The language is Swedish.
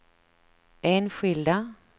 enskilda